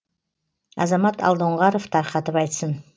азамат алдоңғаров тарқатып айтсын